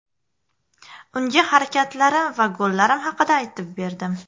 Unga harakatlarim va gollarim haqida aytib berdim.